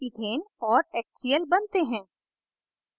ethane और hcl बनते हैं